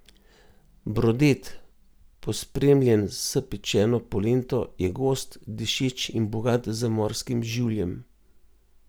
Brodet, pospremljen s pečeno polento, je gost, dišeč in bogat z morskim življem.